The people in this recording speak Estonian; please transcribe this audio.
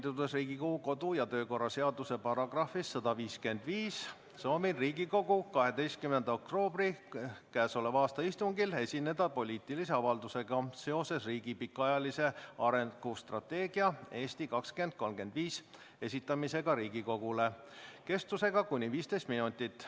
Juhindudes Riigikogu kodu- ja töökorra seaduse §-st 155 soovin Riigikogu 12. oktoobri käesoleva aasta istungil esineda poliitilise avaldusega seoses "Riigi pikaajalise arengustrateegia "Eesti 2035"" esitamisega Riigikogule kestvusega kuni 15 minutit.